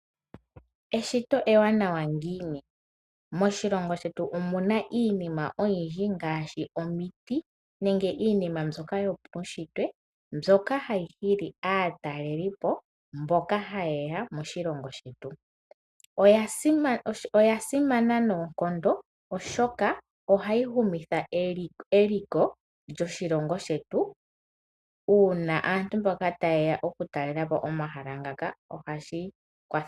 Eshito ewanawa ngiini, moshilongo shetu omuna iinima oyindji ngaashi omiti nenge iinima mbyoka yopautshitwe mbyoka hayi hili aatalelipo mboka hayeya moshilongo shetu, oya simana noonkondo oshoka ohayi humitha eliko lyoshilongo shetu uuna aantu mboka tayeya oku talelapo omahala ngaka ohashi kwatha.